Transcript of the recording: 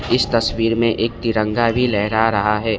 इस तस्वीर में एक तिरंगा भी लहरा रहा है।